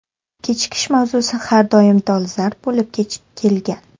Kechikish mavzusi har doim dolzarb bo‘lib kelgan.